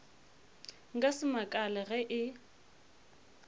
nka se makale ge e